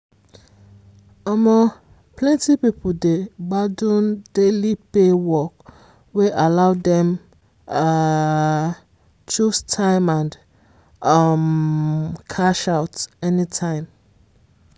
um plenty people dey gbadun daily pay work wey allow dem um choose time and um cash out anytime.